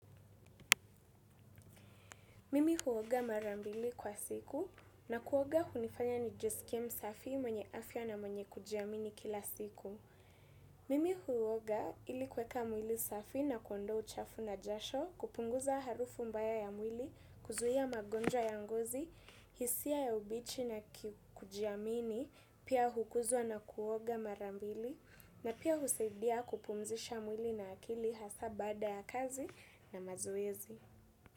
Mimi huoga marambili kwa siku na kuoga hunifanya nijiskiie msafi mwenye afya na mwenye kujiamini kila siku. Mimi huoga ili kuweka mwili safi na kuondoa uchafu na jasho kupunguza harufu mbaya ya mwili kuzuhia magonjwa ya ngozi, hisia ya ubichi na kujiamini, pia hukuzwa na kuoga mara mbili na pia husadia kupumzisha mwili na akili hasa baaada ya kazi na mazoezi.